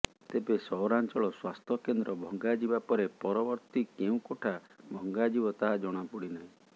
ତେବେ ସହରାଞ୍ଚଳ ସ୍ୱାସ୍ଥ୍ୟ କେନ୍ଦ୍ର ଭଙ୍ଗାଯିବା ପରେ ପରବର୍ତ୍ତୀ କେଉଁ କୋଠା ଭାଙ୍ଗା ଯିବ ତାହା ଜଣାପଡିନାହିଁ